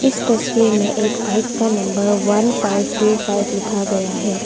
तस्वीर में एक बाइक का number one five two five लिखा गया है।